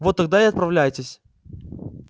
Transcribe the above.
вот тогда и отправляйтесь